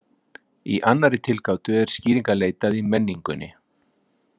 Í annarri tilgátu er skýringa leitað í menningunni.